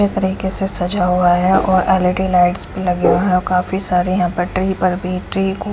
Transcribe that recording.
यह तरीके से सजा हुआ है और एल_ई_डी लाइट्स भी लगी हुई हैं काफी सारे यहाँ पर बैटरी पर भी --